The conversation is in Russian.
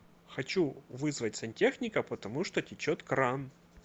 хочу вызвать сантехника потому что течет кран